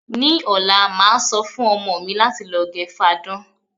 Ní ò̩la, màá so̩ fún o̩mo̩ mi láti lo̩ ge̩ fadán.